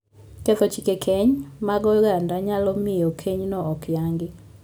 Ketho chike keny mag oganda nyalo miyo kenyno ok yangi.